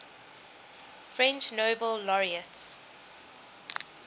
french nobel laureates